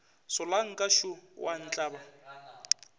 solanka šo o a ntlaba